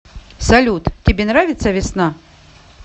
салют тебе нравится весна